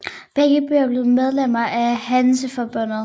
Begge byer blev medlemmer af Hanseforbundet